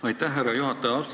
Aitäh, härra juhataja!